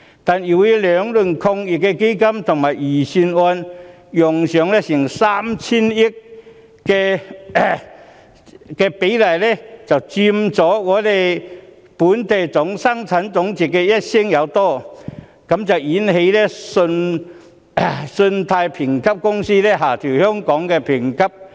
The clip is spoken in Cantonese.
兩輪防疫抗疫基金及預算案紓困措施共動用約 3,000 億元，佔本地生產總值超過一成，因而引起信貸評級公司下調香港的評級。